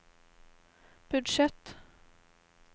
budsjett